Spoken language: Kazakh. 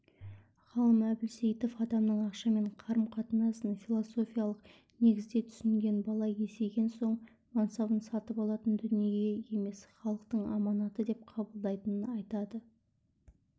ғалым әбілсейітов адамның ақшамен қарым-қатынасын филофиялық негізде түсінген бала есейген соң мансабын сатып алатын дүние емес халықтың аманаты деп қабылдайтынын айтады